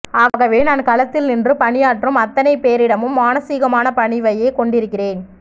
ஆகவே நான் களத்தில் நின்று பணியாற்றும் அத்தனைபேரிடமும் மானசீகமான பணிவையே கொண்டிருக்கிறேன்